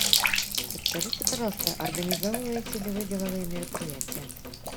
подскажите пожалуйста организовываете ли вы деловые мероприятия